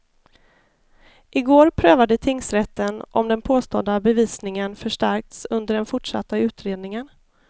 I går prövade tingsrätten om den påstådda bevisningen förstärkts under den fortsatta utredningen.